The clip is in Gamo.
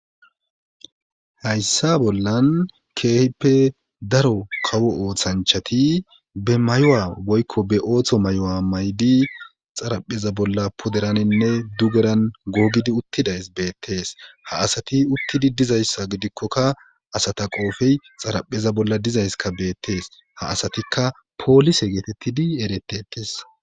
Hayssa bollan keehippe daro kawo ooththanchati be mayowa woykko be ooththo mayo7a may7di xarapheza bolla poderaninne dugeran googidi uttidays beettees ha asati uttidi dizayssa gidikkokka asata qoofey xarapheza bolla dizayska beettees ha asatikka poolise geetettidi eretetes.